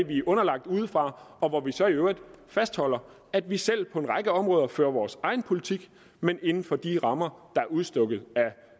vi er underlagt udefra og hvor vi så i øvrigt fastholder at vi selv på en række områder fører vores egen politik men inden for de rammer der er udstukket